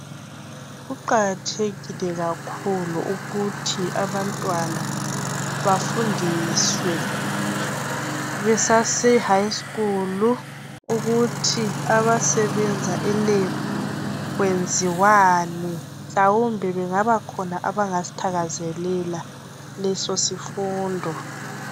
kuqakathekile kakhulu ukuthi abantwana bafundiswe besase high school ukuthi abasebenza e Lab kwenziwani mhlawumbe bengabakhona abangasithakazelela leso sifundo